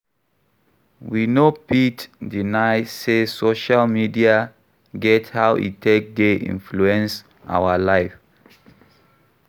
We no fit deny sey social media get how e take dey influence our life